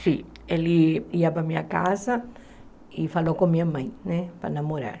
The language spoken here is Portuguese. Sim, ele ia para a minha casa e falou com a minha mãe né para namorar.